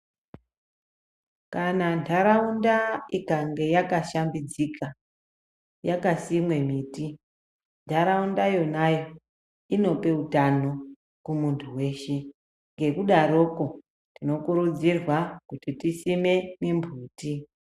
Kana ntaraunda ikange yakashambidzika, yakasimwe miti, ntaraunda yonayo inope utano kumuntu weshe. Ngekudaroko tinokurudzirwa kuti tisime mimbuti.